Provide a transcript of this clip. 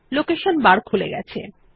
location bar খুলে গেছে